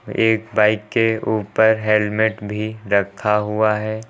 एक बाइक के ऊपर हेलमेट भी रखा हुआ है।